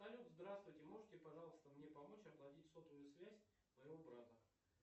салют здравствуйте можете пожалуйста мне помочь оплатить сотовую связь моего брата